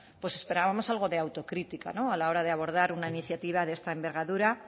pues esperábamos algo de autocrítica no a la hora de abordar una iniciativa de esta envergadura